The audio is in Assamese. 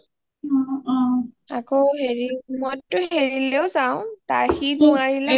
অ অ মই টো হেৰিলৈ যাও সি, বৌ আহিলে